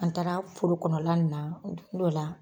An taara forokɔnɔla na dugu dɔ la